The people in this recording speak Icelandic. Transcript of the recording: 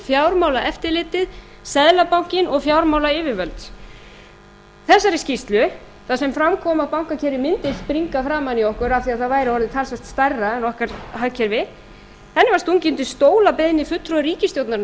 fjármálaeftirlitið seðlabankinn og fjármálayfirvöld þessari skýrslu þar sem fram kom að bankakerfið mundi springa framan í okkur af því það væri orðið talsvert stærra en okkar hagkerfi henni var stungið undir stól að beiðni fulltrúa ríkisstjórnarinnar